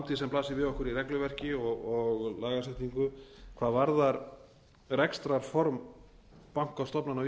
framtíðina sem blasir við okkur í regluverki og lagasetningu hvað varðar rekstrarform bankastofnana á